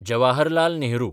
Jawaharlal Nehru